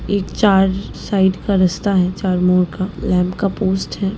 इ चार साइड का रस्ता है चार मुंह का लैम्प का पोस्ट है।